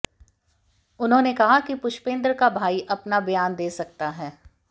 उन्होंने कहा कि पुष्पेंद्र का भाई अपना बयान दे सकता है